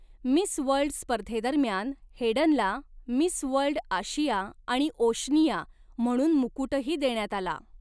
Miss World स्पर्धेदरम्यान हेडनला 'Miss World आशिया आणि ओशनिया' म्हणून मुकुटही देण्यात आला.